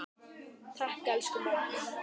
Takk, elsku amma.